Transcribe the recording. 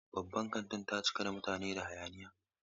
Babban kantin ta cika da mutane da hayaniya.